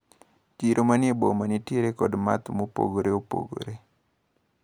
Chiro manie boma nitiere kod math mopogore opogore.